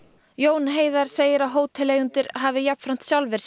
Jón Heiðar segir að hóteleigendur hafi jafnframt sjálfir sinnt